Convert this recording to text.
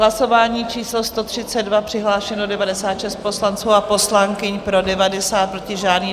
Hlasování číslo 132, přihlášeno 96 poslanců a poslankyň, pro 90, proti žádný.